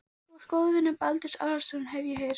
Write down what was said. Þú varst góður vinur Baldurs Aðalsteinssonar, hef ég heyrt